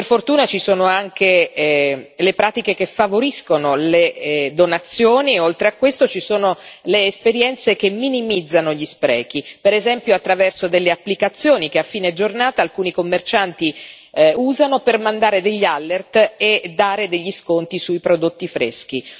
Per fortuna ci sono anche le pratiche che favoriscono le donazioni e, oltre a questo, ci sono le esperienze che minimizzano gli sprechi, per esempio attraverso delle applicazioni che a fine giornata alcuni commercianti usano per mandare degli alert e applicare degli sconti sui prodotti freschi.